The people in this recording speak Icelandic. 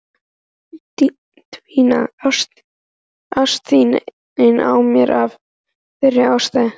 Dvínaði ást þín á mér af þeirri ástæðu?